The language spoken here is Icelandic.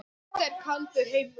Þetta er kaldur heimur.